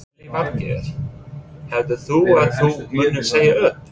Lillý Valgerður: Heldur þú að þú munir segja upp?